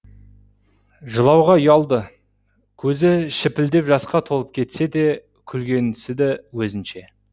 жылауға ұялды көзі шіпілдеп жасқа толып кетсе де күлгенсіді өзінше